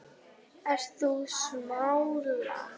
Ert þú sammála því?